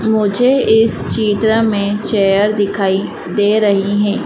मुझे इस चित्र में चेयर दिखाई दे रही हैं।